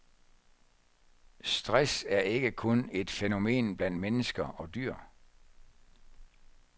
Stress er ikke kun et fænomen blandt mennesker og dyr.